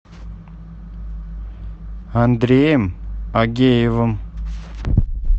андреем агеевым